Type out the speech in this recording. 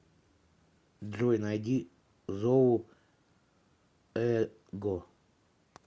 джой найди зову эго